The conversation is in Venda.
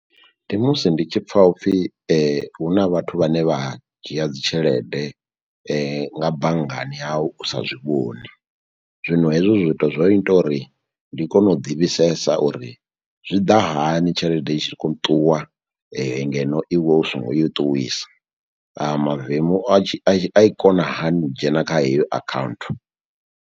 Ndi musi ndi tshi pfha upfhi huna vhathu vhane vha dzhia dzi tshelede nga banngani yau u sa zwi vhoni zwino hezwo zwithu zwo ita uri ndi kone u ḓi fhisesa uri zwi ḓa hani tshelede i tshi kho ṱuwa ngeno iwe u songo i ṱuwisa a mavemu a i kona hani u dzhena kha heyo account.